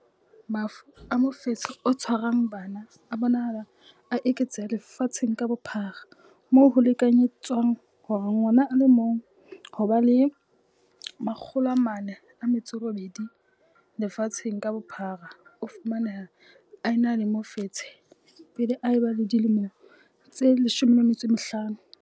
Mafu a mofetshe o tshwarang bana a bonahala a eketseha lefatsheng ka bophara, moo ho lekanyetswang hore ngwana a le mong ho ba 408 lefatsheng ka bophara o fumaneha a ena le mofetshe pele a ba le dilemo tse 15.